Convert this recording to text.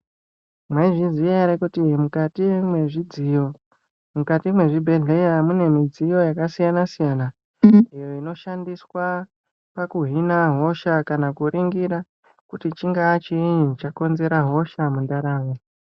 Mai zviziya ere kuti mukati mwe zvidziyo mukati mwe zvibhedhleya mune midziyo yaka siyana siyana inoshandiswa paku hina hosha kana ku ringira kuti chinga chinyi chakonzera hosha mu ndaramo.